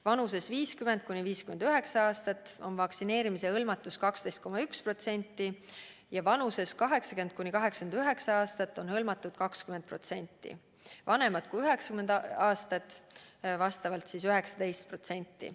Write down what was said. Vanuses 50–59 aastat on vaktsineerimise hõlmatus 12,1%, vanuses 80–89 aastat 20%, vanemate kui 90 aastat puhul 19%.